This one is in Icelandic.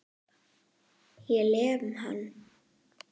Ég lem hann.